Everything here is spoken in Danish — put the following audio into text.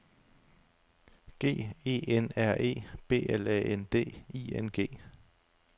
G E N R E B L A N D I N G